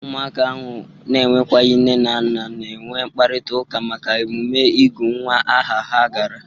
Ụmụaka ahụ na-enwekwaghi nne na nna na-enwe mkparitaụka maka emume ịgụ nwa aha ha gara.